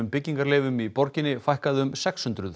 byggingarleyfum í borginni fækkaði um sex hundruð